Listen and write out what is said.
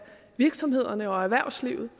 virksomhederne og erhvervslivet